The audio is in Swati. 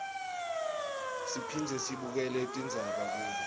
siphindze sibukele tindzaba kubo